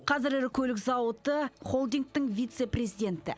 қазір ірі көлік зауыты холдингтің вице президенті